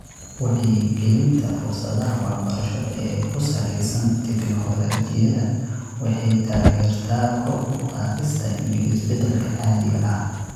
Wacyigelinta fursadaha waxbarasho ee ku salaysan tignoolajiyada waxay taageertaa kor u qaadista iyo isbeddelka caadiga ah .